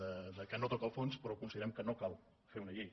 eh que no toca el fons però considerem que no cal fer una llei